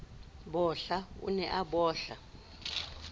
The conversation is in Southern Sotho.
bohla o ne a bohla